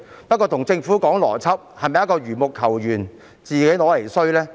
不過跟政府談邏輯，是否等同緣木求魚，自取其辱呢？